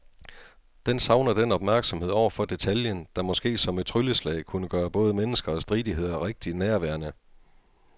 Den savner den opmærksomhed over for detaljen, der måske som et trylleslag kunne gøre både mennesker og stridigheder rigtig nærværende.